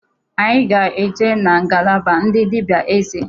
Anyị ga-eje na ngalaba ndị dịbịa eze.